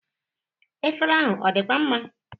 Efere ahụ ọ dịkwa mma?